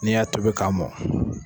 N'i y'a tobi ka mɔn.